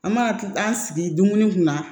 An mana an sigi dumuni kunna